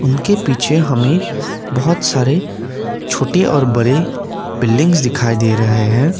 उनके पीछे हमें बहुत सारे छोटे और बड़े बिल्डिंग्स दिखाई दे रहे हैं।